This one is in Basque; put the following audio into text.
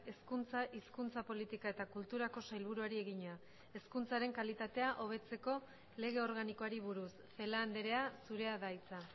hezkuntza hizkuntza politika eta kulturako sailburuari egina hezkuntzaren kalitatea hobetzeko lege organikoari buruz celaá andrea zurea da hitza